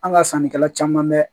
An ka sannikɛla caman bɛ